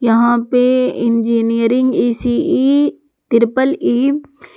यहां पे engineering E C E triple E --